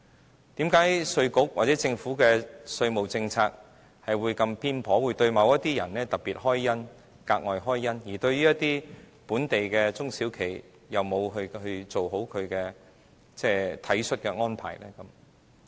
為甚麼稅務局或政府的稅務政策會這麼偏頗，會對某些人特別開恩、格外開恩，而對於本地一些中小企卻沒有做好體恤的安排呢？